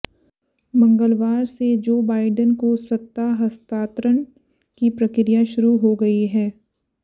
मंगलवार से जो बाइडन को सत्ता हस्तांतरण की प्रक्रिया शुरू हो गई है